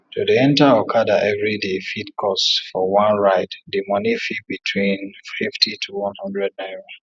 to dey enter okada everyday fit cost for one ride di money fit between fifty to one hundred naira